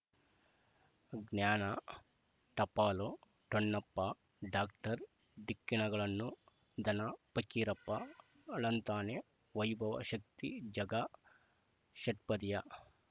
ಜ್ಞಾನ ಟಪಾಲು ಠೊಣ್ಣಪ್ಪ ಡಾಕ್ಟರ್ ಢಿಕ್ಕಿ ಣಗಳನು ಧನ ಪಕೀರಪ್ಪ ಳಂತಾನೆ ವೈಭವ್ ಶಕ್ತಿ ಝಗಾ ಷಟ್ಪದಿಯ